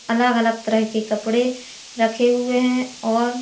अलग अलग तरह के कपड़े रखे हुए हैं और--